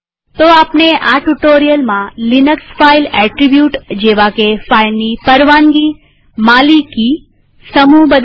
તો આપણે આ ટ્યુ્ટોરીઅલમાં લિનક્સ ફાઈલ એટ્રીબ્યુટ જેવાકે ફાઈલની પરવાનગીમાલિકીસમૂહ બદલવા